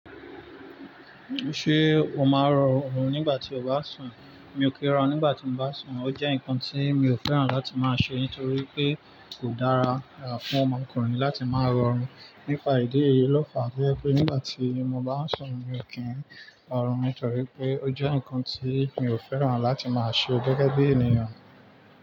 Ṣé o máa rọrùn nígbà tí o bá sùn? Mi ò kí rọ nígbà tí mo bá sùn. Ó jẹ́ nǹkan tí mi ò fẹ́ràn láti máa ṣe nítorí pé kò dára fún ọmọkùnrin láti máa rọrùn. Nípa ìdí èyí lọ́ fa pé nígbà tí mo bá sùn, mi ò kí ń hanrun nítorí pé ó jẹ́ nǹkan tí mi ò fẹ́ràn láti máa ṣe gẹ́gẹ́ bí ènìyàn.